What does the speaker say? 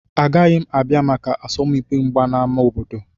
Agaghị m abịa maka asọmpi mgba na ámá obodo.